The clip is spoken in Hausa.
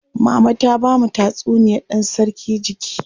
Mama ta bamu tatsuniyar dan sarki jiki.